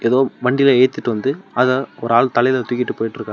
எதோ வண்டில ஏத்திட்டு வந்து அத ஒரு ஆள் தயில தூக்கிட்டு போய்ட்டு இருகாரு.